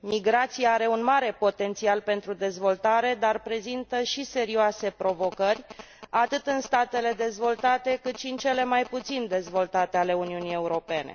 Migrația are un mare potențial pentru dezvoltare, dar prezintă și serioase provocări, atât în statele dezvoltate, cât și în cele mai puțin dezvoltate ale Uniunii Europene.